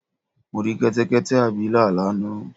Mo rí Kẹ́tẹ́kẹ́tẹ́ abilà lánàá